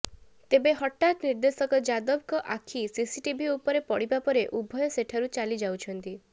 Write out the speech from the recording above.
ତେବେ ହଠାତ୍ ନିର୍ଦେଶକ ଯାଦବଙ୍କ ଆଖି ସିସିଟିଭି ଉପରେ ପଡିବା ପରେ ଉଭୟ ସେଠାରୁ ଚାଲିଯାଉଛନ୍ତି